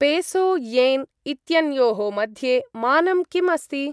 Peso yen इत्यन्योः मध्ये मानं किम् अस्ति?